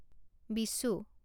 Vishu